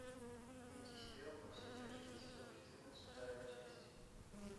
найти сериал во все тяжкие сезон четырнадцать вторая часть